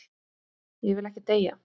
Ég vil ekki deyja.